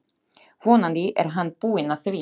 Vonandi er hann búinn að því.